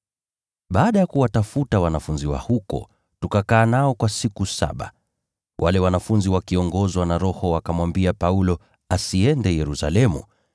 Baada ya kuwatafuta wanafunzi wa huko, tukakaa nao kwa siku saba. Wale wanafunzi wakiongozwa na Roho wakamwambia Paulo asiende Yerusalemu.